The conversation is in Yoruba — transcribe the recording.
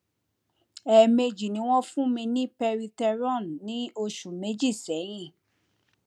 ẹẹmejì ni wọn fún mi ní peritheron ní oṣù méjì sẹyìn